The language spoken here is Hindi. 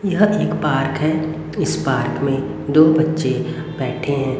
यह एक पार्क है इस पार्क में दो बच्चे बैठे हैं।